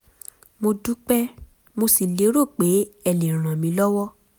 mo dúpẹ́ mo sì lérò pé ẹ lè ràn mí lọ́wọ́